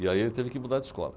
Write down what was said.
E aí ele teve que mudar de escola.